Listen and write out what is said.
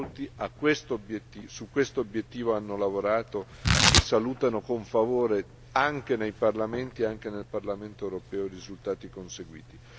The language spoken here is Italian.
Ma molti su questo obiettivo hanno lavorato e salutano con favore, anche nei parlamenti e anche nel Parlamento europeo, i risultati conseguiti.